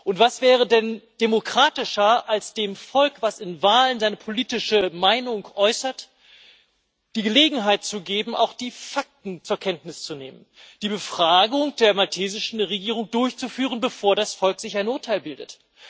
Und was wäre denn demokratischer, als dem Volk, das in Wahlen seine politische Meinung äußert, die Gelegenheit zu geben, auch die Fakten zur Kenntnis zu nehmen, die Befragung der maltesischen Regierung durchzuführen, bevor das Volk sich ein Urteil bildet?